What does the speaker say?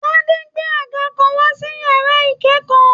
Tádé gbé àga kàn wá sí yàrá ikẹkọọ.